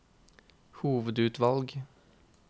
hovedutvalg